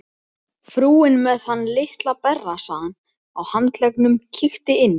Frúin með þann litla berrassaðan á handleggnum kíkti inn.